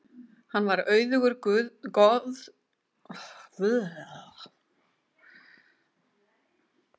Hann var auðugur goðorðsmaður og fór með mikil völd í landinu í sinni tíð.